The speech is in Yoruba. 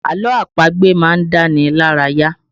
Àlọ́ àpagbè má ń dá ni lára yá